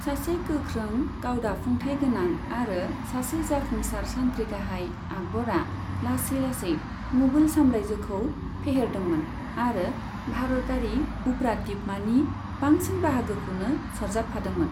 सासे गोख्रों गावदाफुंथाय गोनां आरो सासे जाफुंसार सान्थ्रि गाहाय, आकबरा लासै लासै मुगल साम्रायजोखौ फेहेरदोंमोन आरो भारतारि उफ्रादीपमानि बांसिन बाहागोखौनो सरजाबफादोंमोन।